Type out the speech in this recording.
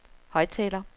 højttaler